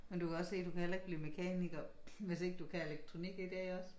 Men du kan godt se du kan heller ikke blive mekaniker hvis ikke du kan elektronik i dag også